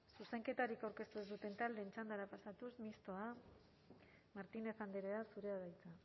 zuzenketarik aurkeztu ez duten taldeen txandara pasatuz mistoa martínez andrea zurea da hitza